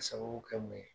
Ka sababu kɛ mun ye